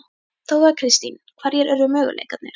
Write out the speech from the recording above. Þóra Kristín: Hverjir eru möguleikarnir?